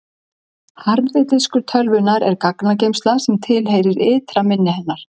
harði diskur tölvunnar er gagnageymsla sem tilheyrir ytra minni hennar